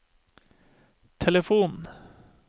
telefon